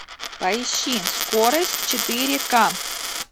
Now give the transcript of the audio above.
поищи скорость четыре к